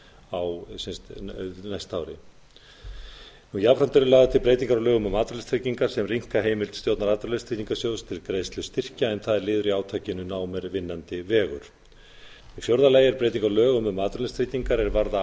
á næsta ári jafnframt eru lagðar til breytingar á lögum um atvinnuleysistryggingar sem rýmka heimild stjórnar atvinnuleysistryggingasjóðs til greiðslu styrkja en það er liður í átakinu nám er vinnandi vegur í fjórða lagi er breyting á lögum um atvinnuleysistryggingar er varða